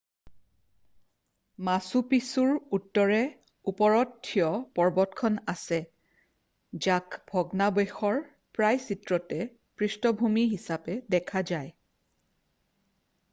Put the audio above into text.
মাছু পিছুৰ উত্তৰে ওপৰত থিয় পৰ্বতখন আছে যাক ভগ্নাৱশেষৰ প্ৰায় চিত্ৰতে পৃষ্ঠভূমি হিচাপে দেখা যায়